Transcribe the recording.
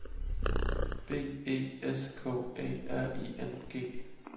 B E S K Æ R I N G